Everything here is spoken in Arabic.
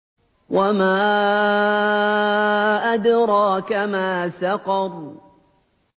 وَمَا أَدْرَاكَ مَا سَقَرُ